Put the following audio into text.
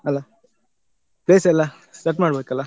ಅಲ್ಲ place ಎಲ್ಲಾ set ಮಾಡ್ಬೇಕಲ್ಲಾ?